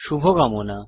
শুভকামনা